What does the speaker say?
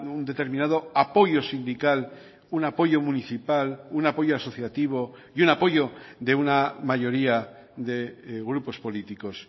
un determinado apoyo sindical un apoyo municipal un apoyo asociativo y un apoyo de una mayoría de grupos políticos